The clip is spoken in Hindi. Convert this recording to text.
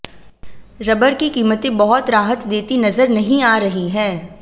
रबर की कीमतें बहुत राहत देती नजर नहीं आ रही हैं